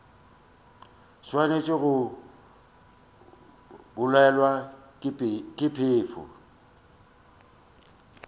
swanetše go bolawa ke phefo